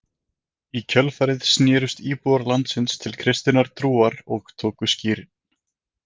Í kjölfarið snerust íbúar landsins til kristinnar trúar og tóku skírn.